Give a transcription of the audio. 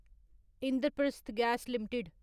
Indraprastha gas limited